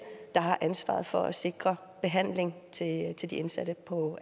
der har ansvaret for at sikre behandling til de indsatte på